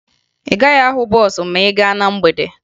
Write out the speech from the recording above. Ị gaghị ahụ bọọsụ ma ị gaa na mgbede